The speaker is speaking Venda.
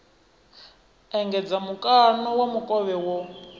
engedza mukano wa mukovhe wo